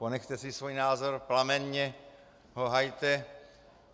Ponechte si svůj názor, plamenně ho hajte.